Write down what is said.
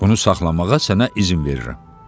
Bunu saxlamağa sənə izin verirəm.